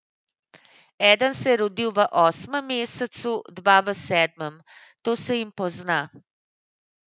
Eden se je rodil v osmem mesecu, dva v sedmem: 'To se jim pozna.